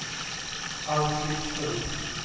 Alfhild Strid